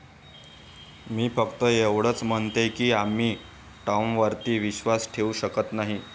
मी फक्त एवढंच म्हणतेय की आम्ही टॉमवरती विश्वास ठेवू शकत नाही.